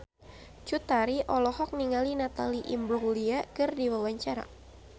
Cut Tari olohok ningali Natalie Imbruglia keur diwawancara